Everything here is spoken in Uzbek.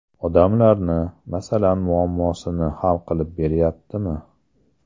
Odamlarni, masalan, muammosini hal qilib beryaptimi?